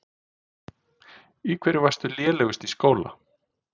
Í hverju varstu lélegust í skóla?